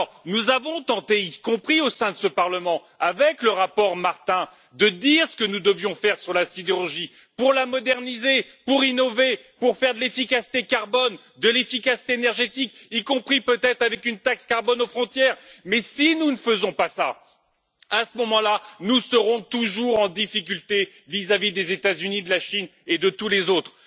Nous avons tenté, y compris au sein de ce Parlement, avec le rapport Martin, de dire ce que nous devions faire sur la sidérurgie pour la moderniser, pour innover, pour faire de l'efficacité carbone, de l'efficacité énergétique, y compris peut être avec une taxe carbone aux frontières, mais si nous ne faisons pas cela, à ce moment là, nous serons toujours en difficulté vis à vis des États Unis, de la Chine et de tous les autres.